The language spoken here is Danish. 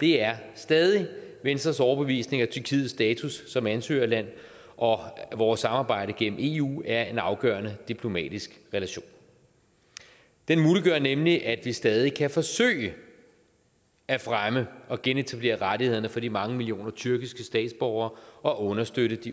det er stadig venstres overbevisning at tyrkiets status som ansøgerland og vores samarbejde gennem eu er en afgørende diplomatisk relation den muliggør nemlig at vi stadig kan forsøge at fremme og genetablere rettighederne for de mange millioner tyrkiske statsborger og understøtte de